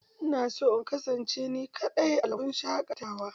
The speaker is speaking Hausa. Ina son in kasance ni kaɗai a lambu shaƙatawa.